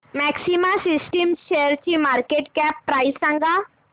maxima systems शेअरची market cap price सांगा